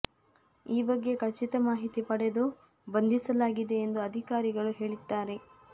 ಈ ಬಗ್ಗೆ ಖಚಿತ ಮಾಹಿತಿ ಪಡೆದು ಬಂಧಿಸಲಾಗಿದೆ ಎಂದು ಅಧಿಕಾರಿಗಳು ಹೇಳಿದ್ದಾರೆ